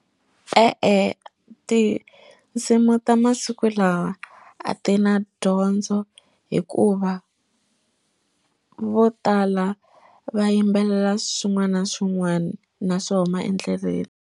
E-e tinsimu ta masiku lawa a ti na dyondzo hikuva vo tala va yimbelela swin'wana na swin'wana na swo huma endleleni.